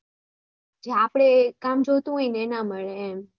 આપણે જે કામ જોયે તે ના મળે એમ